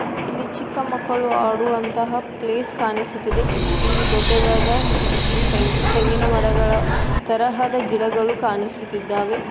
ಇಲ್ಲಿ ಚಿಕ್ಕ ಮಕ್ಕಳು ಆಡುವಂತಹ ಪ್ಲೇಸ್ ಕಾಣಿಸುತ್ತಿದೆ ಇಲ್ಲಿ ದೊಡ್ಡದಾದ ಮ್ಮ್- ತೆಂಗ್- ತೆಂಗಿನ ಮರಗಳ ತರಹದ ಗಿಡಗಳು ಕಾಣಿಸುತ್ತಿದ್ದಾವೆ.